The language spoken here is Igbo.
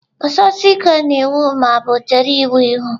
Guzosie ike na iwu ma ọ bụ chere iwu ihu!.